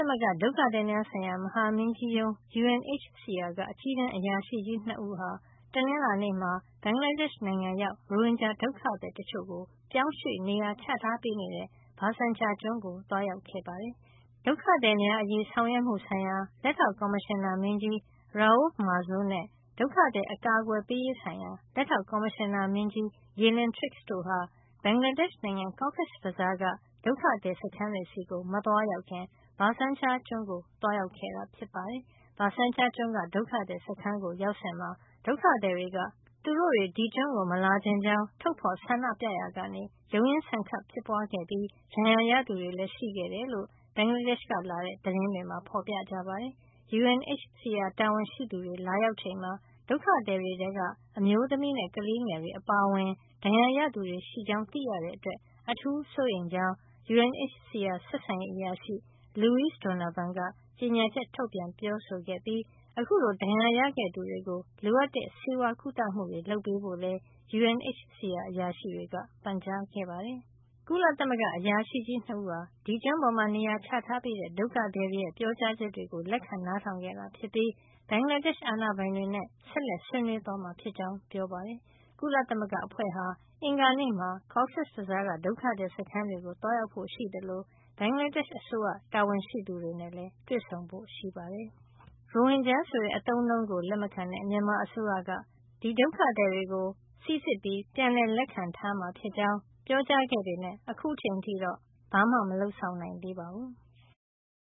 မဂ္ဂ ဒုက္ခသည်များဆိုင်ရာ မဟာမင်းကြီးရုံး UNHCR က အကြီးတန်းအရာရှိကြီး ၂ ဦးဟာ တနင်္လာနေ့မှာ ဘင်္ဂလားဒေ့ရှ်နိုင်ငံရောက် ရိုဟင်ဂျာဒုက္ခသည် တချို့ကို ပြောင်းရွှေ့နေရာချထားပေးနေတဲ့ Bhasan Char ကျွန်းကို သွားရောက်ခဲ့ပါတယ်။ ဒုက္ခသည်များအရေးဆောင်ရွက်မှုဆိုင်ရာ လက်ထောက်ကော်မရှင်နာမင်းကြီး Raouf Mazou နဲ့ ဒုက္ခသည် အကာကွယ်ပေးရေးဆိုင်ရာ လက်ထောက်ကော်မရှင်နာမင်းကြီး Gillian Triggs တို့ဟာ ဘင်္ဂလားဒေ့ရှ်နိုင်ငံ Cox's Bazar က ဒုက္ခသည်စခန်းတွေကို မသွားခင် Bhasan Char ကျွန်းကို သွားရောက်ခဲ့တာ ဖြစ်ပါတယ်။ Bhasan Char ကျွန်းက ဒုက္ခသည် စခန်းကို ရောက်စဉ်မှာ ဒုက္ခသည်တွေက သူတို့ ဒီကျွန်းကို မလာချင်ကြောင်း ထုတ်ဖေါ်ဆန္ဒပြရာက ရုန်းရင်းဆန်ခတ်ဖြစ်ပွါးခဲ့ပြီး ဒဏ်ရာရသူတွေလည်း ရှိခဲ့တယ်လို့ ဘင်္ဂလားဒေ့ရှ်ကလာတဲ့ သတင်းတွေမှာ ဖေါ်ပြကြပါတယ်။ UNHCR တာဝန်ရှိသူတွေ လာရောက်ချိန်မှာ ဒုက္ခသည်တွေထဲက အမျိုးသမီးနဲ့ ကလေးငယ်တွေ အပါအဝင် ဒဏ်ရာရသူတွေ ရှိကြောင်း သိရတဲ့ အတွက် အထူးစိုးရိမ်ကြောင်းလည်း UNHCR ဆက်ဆံရေးအရာရှိ Louise Donovan က ကြေညာချက် ထုတ်ပြန်ပြောဆိုခဲ့ပြီး အခုလို ဒဏ်ရာရခဲ့သူတွေကို လိုအပ်တဲ့ ဆေးဝါးကုသမှုတွေ လုပ်ပေးဖို့လည်း UNHCR အရာရှိတွေက ပန်ကြားခဲ့ပါတယ်။ ကုလသမဂ္ဂအရာရှိကြီး ၂ ဦးဟာ ဒီကျွန်းပေါ်မှာ နေရာချထားပေးထားတဲ့ ဒုက္ခသည်တွေရဲ့ ပြောကြားချက်တွေကို လက်ခံ နားထောင်ခဲ့တာ ဖြစ်ပြီး ဘင်္ဂလားဒေ့ရှ် အာဏာပိုင်တွေနဲ့ ဆက်လက် ဆွေးနွေးသွားမှာ ဖြစ်ကြောင်းပြောပါတယ်။ ကုလအဖွဲ့ဟာ အင်္ဂါနေ့မှာ Cox’s Bazar က ဒုက္ခသည် စခန်းတွေကို သွားရောက်ဖို့ရှိသလို ဘင်္ဂလားဒေ့ရှ် အစိုးရ တာဝန်ရှိသူတွေနဲ့လည်း တွေ့ဆုံဖို့ ရှိပါတယ်။ ရိုဟင်ဂျာ ဆိုတဲ့ အသုံးအနှုန်းကို လက်မခံတဲ့ မြန်မာအစိုးရကတော့ ဒုက္ခသည်တွေကို စိစစ်ပြီး ပြန်လက်ခံမှာ ဖြစ်ကြောင်း ပြောထား ပေမယ့် အခုထိတော့ မလုပ်ဆောင် နိုင်သေးပါဘူး။